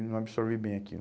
E não absorvi bem aquilo.